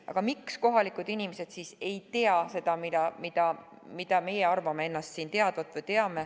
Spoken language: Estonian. Miks siis kohalikud inimesed ei tea seda, mida meie teame või arvame ennast teadvat?